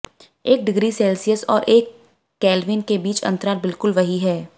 एक degree Celsius और एक केल्विन के बीच अंतराल बिल्कुल वही है